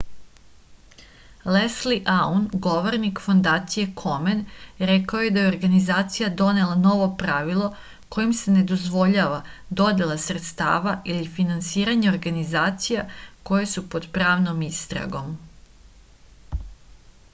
lesli aun govornik fondacije komen rekao je da je organizacija donela novo pravilo kojim se ne dozvoljava dodela sredstava ili finansiranje organizacija koje su pod pravnom istragom